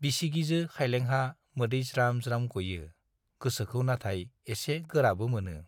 बिसिगिजो खाइलेंहा मोदै ज्राम-ज्राम गयो, गोसोखौ नाथाय एसे गोराबो मोनो।